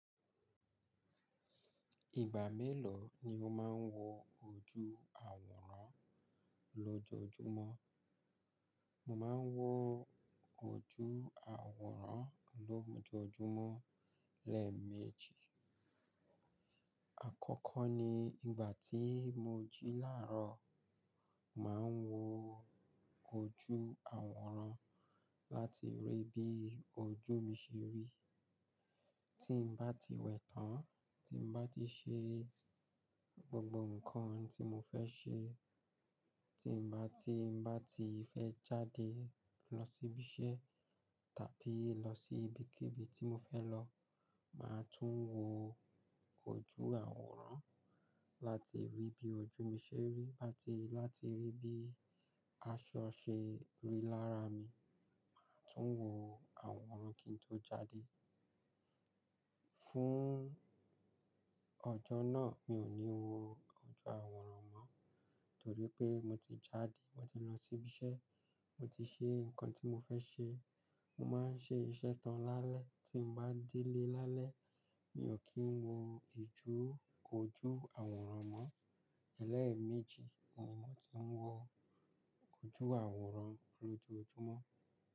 Ìgbà mélòó ni mo máa ń wọ ojú àwòrán lọ́jọ́ọjúmọ́? Mo máa ń wọ ojú àwòrán lọ́jọ́ọjúmọ́ lẹ́ẹ̀meji. Àkọ́kọ́ ni ìgbà tí mo jí làárọ̀, màá wọ ojú àwòrán láti rí bí ojú mi ṣe rí. Tí n bá ti wẹ̀ tán, tí n bá ti ṣe gbogbo nǹkan tí mo fẹ́ ṣe, tí n bá, tí n bá ti fẹ́ jáde lọ sí ibi iṣẹ́ tàbí lọ sí ibikíbi tí mo fẹ́ lọ, màá tún wọ ojú àwòrán láti rí bí ojú mi ṣe rí, láti, láti rí bí aṣọ ṣe rí lára mi, màá tún wọ àwòrán kí n tó jáde. Fún ọjọ́ náà, mi ò ní wọ ojú àwòrán mọ́ torí pé mo ti jáde, mo ti lọ sí ibi iṣẹ́, mo ti ṣe nǹkan tí mo fẹ́ ṣe. Mo máa ń ṣe iṣẹ́ tán lálẹ́, tí mo bá délé lálẹ́, mi ò kí ń wọ ijú, ojú àwòrán mọ́. Lẹ́ẹ̀meji ni mòmọ ti ń wọ ojú àwòrán lọ́jọ́ọjúmọ́.